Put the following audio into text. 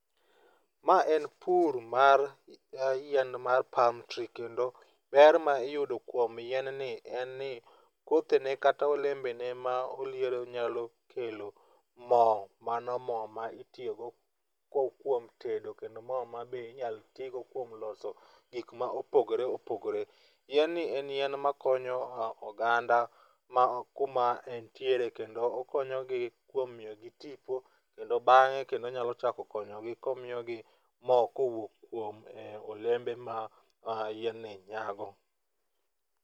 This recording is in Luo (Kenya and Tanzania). Ma en pur mar yien mar palm tree kendo ber ma iyudo kuom yien ni en ni kodhene kata olembene ma oliero nyalo kelo mo, mano ma ma itiyogo kuom tedo kendo mo ma be inyalo tigo kuom loso gik ma opogore opogore. Yien ni en yien makonyo oganda, ma kuma entiere kendo okonyogi kuom miyogi tipo, kendo bang'e kendo onyalo chako konyogi komiyogi mo kowuok kuom olembe ma yien ni nyago.